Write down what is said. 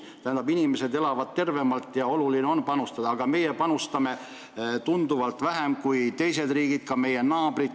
Tähendab, inimesed elavad siis tervemalt ja oluline on sellesse panustada, aga meie panustame tunduvalt vähem kui teised riigid, ka meie naabrid.